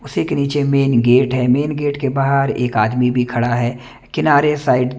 उसी के नीचे मेन गेट है मेन गेट के बाहर एक आदमी भी खड़ा है किनारे साईड --